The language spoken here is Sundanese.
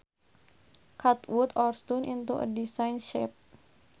cut wood or stone into a designed shape